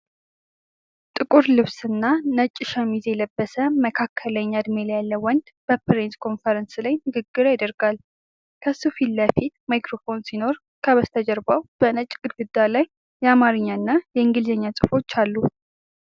ጥቁር ልብስና ነጭ ሸሚዝ የለበሰ፣ መካከለኛ ዕድሜ ያለው ወንድ በፕሬስ ኮንፈረንስ ላይ ንግግር ያደርጋል። ከሱ ፊት ለፊት ማይክሮፎን ሲኖር፣ ከበስተጀርባው በነጭ ግድግዳ ላይ የአማርኛና የእንግሊዝኛ ጽሑፎች አሉ።